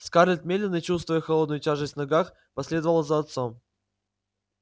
скарлетт медленно чувствуя холодную тяжесть в ногах последовала за отцом